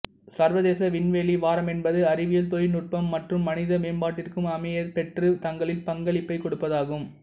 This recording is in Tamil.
சர்வதேச விண்வெளி வாரமென்பது அறிவியல் தொழினுட்பம் மற்றும் மனித மேம்பாட்டிற்கும் அமையபெற்று தங்கள் பங்களிப்பை கொடுப்பதாகும்